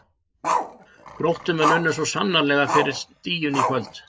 Gróttumenn unnu svo sannarlega fyrir stiginu í kvöld.